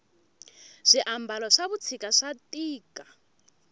swi ambalo swavushika swatika